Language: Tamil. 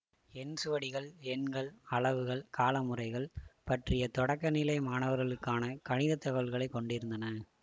எண் சுவடிகள் எண்கள் அளவுகள் கால முறைகள் பற்றிய தொடக்க நிலை மாணவர்களுக்கான கணிதத் தகவல்களை கொண்டிருந்தன